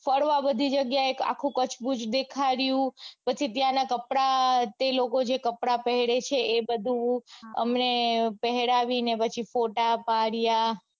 ફરવા બધી જગ્યાએ આખું કચ્છ ભુજ દેખાડ્યું પછી ત્યાંના કપડાં તે લોકો જે કપડાં પેરે છે એ બધું અમને પહેરાવીને પછી ફોટા પાડ્યા.